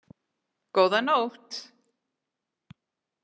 Góða nótt!